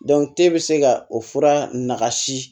e bɛ se ka o fura nagasi